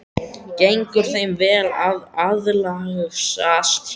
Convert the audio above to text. Gengur þeim vel að aðlagast hérna?